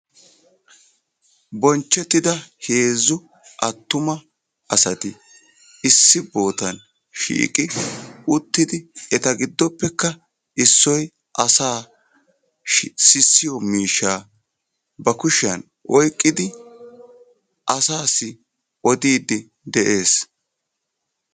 Bonchchetida heezzu attuma asati issi bootta shiiqi uttidi eta giddoppekka issoy asa sissiyo miishsha ba kushiyaan oyqqidi asassi odiidi de'ees.